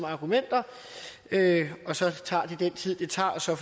argumenter og så tager det den tid det tager og så